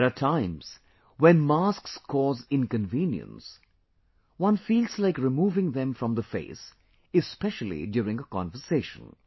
There are times when masks cause inconvenience, one feels like removing them from the face especially during a conversation